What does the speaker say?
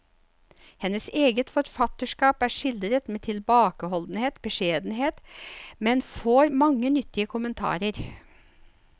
Hennes eget forfatterskap er skildret med tilbakeholden beskjedenhet, men får mange nyttige kommentarer.